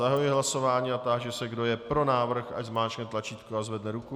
Zahajuji hlasování a táži se, kdo je pro návrh, ať zmáčkne tlačítko a zvedne ruku.